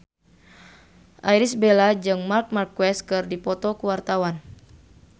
Irish Bella jeung Marc Marquez keur dipoto ku wartawan